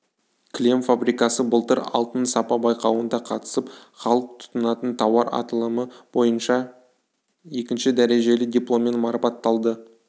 кілем фабрикасы былтыр алтын сапа байқауында қатысып халық тұтынатын тауар аталымы бойынша екінші дәрежелі дипломмен марапатталды